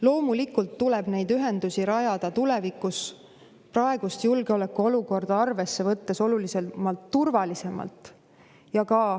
Loomulikult tuleb neid ühendusi rajada tulevikus praegust julgeolekuolukorda arvesse võttes märksa turvalisemalt.